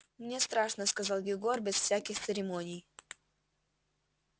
мне страшно сказал егор без всяких церемоний